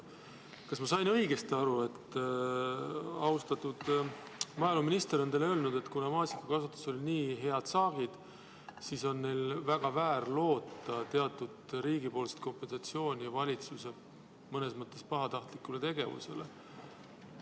Kas ma sain õigesti aru, et austatud maaeluminister on teile öelnud, et kuna maasikakasvatuses olid nii head saagid, siis on maasikakasvatajatel väga väär loota teatud riigipoolset kompensatsiooni valitsuse mõnes mõttes pahatahtliku tegevuse eest?